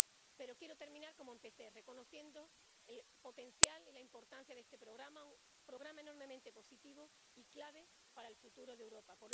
Pero quiero terminar como empecé, reconociendo el potencial y la importancia de este programa, un programa enormemente positivo y clave para el futuro de Europa.